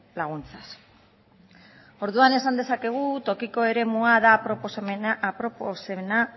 laguntzaz orduan esan dezakegu tokiko eremua dela aproposena